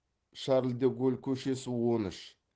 шарль де голль көшесі он үш